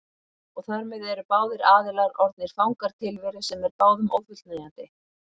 Og þar með eru báðir aðilar orðnir fangar tilveru sem er báðum ófullnægjandi.